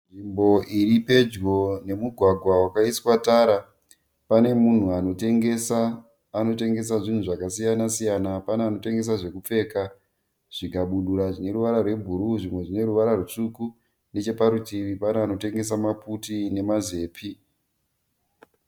Nzvimbo iri pedyo nemugwagwa wakaiswa tara . Pane munhu anotengesa. Anotengesa zvinhu zvakasiyana-siyana. Pane anotengesa zvekupfeka, zvikabudura zvine ruvara rwe bhuruu zvimwe zvine ruvara rutsvuku. Necheparutivi pane anotengesa maputi nema zepi .